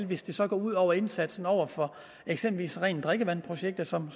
hvis det så går ud over indsatsen over for eksempelvis rent drikkevand projekter som